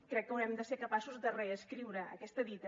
crec que haurem de ser capaços de reescriure aquesta dita